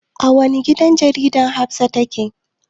A wani gidan jarida Hafsah take aiki.